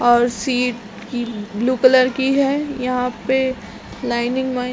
और सीट की blue colour की है यहाँ पे लाइनिंग -वाईनिंग है।